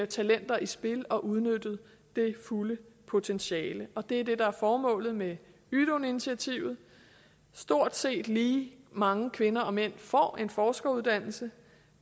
talenter i spil og udnytte det fulde potentiale og det er det der er formålet med ydun initiativet stort set lige mange kvinder og mænd får en forskeruddannelse